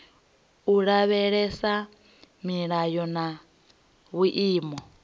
u lavhelesa milayo na vhuimo